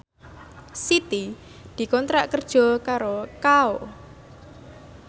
Siti dikontrak kerja karo Kao